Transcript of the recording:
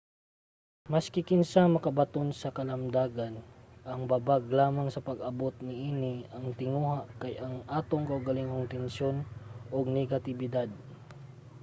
maski kinsa ang makabaton sa kalamdagan. ang babag lamang sa pag-abot niini nga tinguha kay ang atong kaugalingong tensyon ug negatibidad